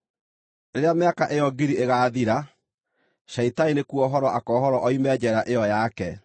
Rĩrĩa mĩaka ĩyo ngiri ĩgaathira, Shaitani nĩkuohorwo akoohorwo oime njeera ĩyo yake,